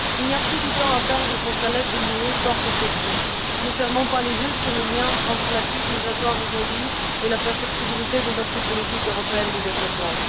Il n'y a plus de temps à perdre pour que l'aide de l'UE porte ses fruits ne fermons pas les yeux sur les liens entre la crise migratoire d'aujourd'hui et la perfectibilité de notre politique européenne de développement.